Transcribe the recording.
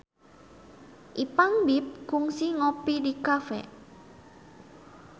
Ipank BIP kungsi ngopi di cafe